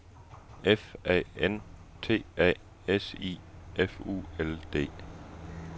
F A N T A S I F U L D